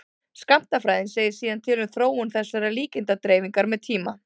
skammtafræðin segir síðan til um þróun þessarar líkindadreifingar með tíma